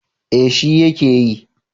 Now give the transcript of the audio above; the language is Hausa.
Eh shi ya ke yi